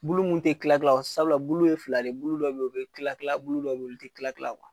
Bulu mun te tilatila o sabula bulu ye fila de. Bulu dɔ be o be tilatila bulu dɔ be olu te tilatila .